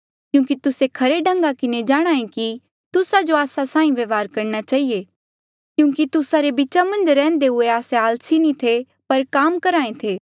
क्यूंकि तुस्से खरे ढंगा किन्हें जाणहां ऐें कि तुस्सा जो आस्सा साहीं व्यवहार करणा चहिए क्यूंकि तुस्सा रे बीचा मन्झ रैह्न्दे हुए आस्से आलसी नी थे पर काम करहे थे